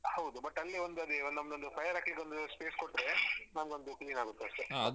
ಹೌದು but ಅಲ್ಲಿ ಒಂದದೆ ನಂದೊನ್ದು fire ಹಾಕ್ಲಿಕ್ಕೊಂದು space ಕೊಟ್ರೆ ನಮ್ಗೊಂದು clear ಆಗುತ್ತೆ ಅಷ್ಟೆ